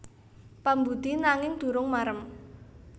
Pambudi nanging durung marem